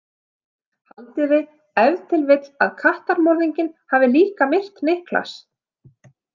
Haldið þið ef til vill að kattamorðinginn hafi líka myrt Niklas?